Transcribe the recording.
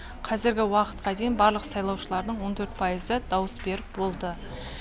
қазіргі уақытқа дейін барлық сайлаушылардың он төрт пайызы дауыс беріп болды